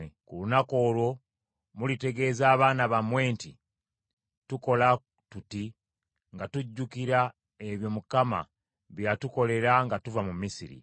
Ku lunaku olwo mulitegeeza abaana bammwe nti, ‘Tukola tuti nga tujjukira ebyo Mukama bye yatukolera nga tuva mu Misiri.’